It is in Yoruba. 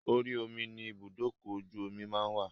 Orí omi ni ibùdókọ̀-ojú-omí máa ń wà